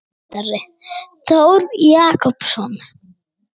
Ljósmyndari: Þór Jakobsson.